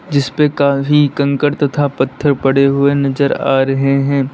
जिसपे काफी कंकर तथा पत्थर पड़े हुए नजर आ रहे हैं।